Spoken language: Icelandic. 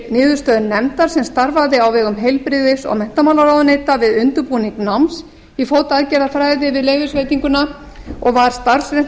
niðurstöðu nefndar sem starfaði á vegum heilbrigðis og menntamálaráðuneyta við undirbúning náms í fótaaðgerðafræði við leyfisveitinguna og var